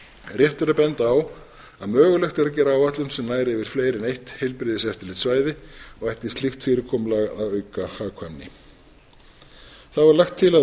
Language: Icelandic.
rétt er að benda á að mögulegt er að gera áætlun sem nær yfir fleiri en eitt heilbrigðiseftirlitssvæði og ætti slíkt fyrirkomulag að auka hagkvæmni þá er lagt til að